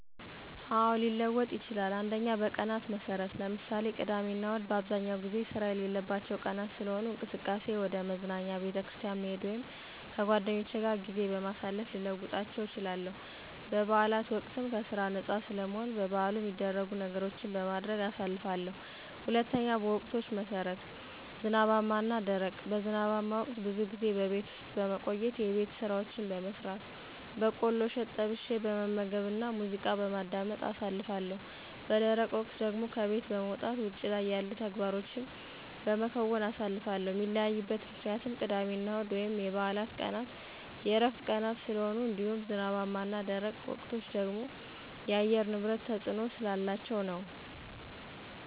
አዎ፣ ሊለወጥ ይችላል። 1. በቀናት መሠረት ( ምሳሌ፦ ቅዳሜና እሁድ) በአብዛኛው ጊዜ ስራ የሌለባቸው ቀናት ስለሆኑ፣ እንቅስቃሴየ ወደ መዝናኛ፣ ቤተክርስቲያን መሄድ ወይም ከጓደኞቼ ጋር ጊዜ በማሳለፍ ልለውጣቸው እችላለሁ። በበዓላት ወቅትም ከስራ ነፃ ስለምሆን በበዓሉ ሚደረጉ ነገሮችን በማድረግ አሳልፋለሁ። 2. በወቅቶች መሠረት ( ዝናባማ እና ደረቅ ) በዝናባማ ወቅት ብዙ ጊዜ በቤት ውስጥ በመቆየት የቤት ስራዎችን በመስራት፣ በቆሎ እሸት ጠብሸ በመመገብና ሙዚቃ በማዳመጥ አሳልፋለሁ። _ በደረቅ ወቅት ደግሞ ከቤት በመውጣት ውጭ ላይ ያሉ ተግባሮቸን በመከወን አሳልፋለሁ። ሚለያይበት ምክንያትም ቅዳሜና እሁድ ወይም የበዓላት ቀናት የዕረፍት ቀናት ስለሆኑ እንዲሁም ዝናባማ እና ደረቅ ወቅቶች ደግሞ የአየር ንብረት ተፅዕኖ ስላላቸው ነዉ።